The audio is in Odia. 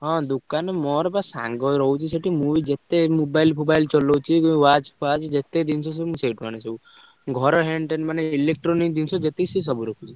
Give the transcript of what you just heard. ହଁ ଦୋକାନୀ ମୋର ବା ସାଙ୍ଗ ରହୁଛି ସେଠି, ମୁଁ ବି ଯେତେ mobile ଫୋବାଇଲି ଚଲଉଛି ଯୋଉ watch ଫ୍ଵାଚ ଯେତେ ଜିନିଷ ସବୁ ମୁଁ ସେଇଠୁ ଆଣେ ସବୁ। ଘର ଟେଣେ ମାନେ electronics ଜିନିଷ ଯେତିକି ସିଏ ସବୁ ରଖୁଛି।